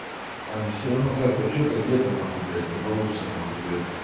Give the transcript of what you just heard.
там все равно как-то что-то где-то нахуй блять не получится нахуй блять